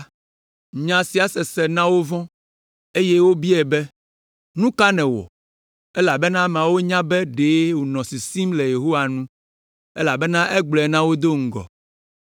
Nya sia sese na wovɔ̃, eye wobiae be, “Nu ka nèwɔ?” Elabena ameawo nya be ɖe wònɔ sisim le Yehowa nu, elabena egblɔe na wo do ŋgɔ.